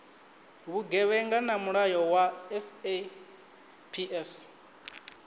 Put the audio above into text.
vhugevhenga na mulayo wa saps